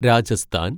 Rajasthan